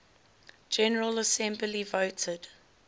general assembly voted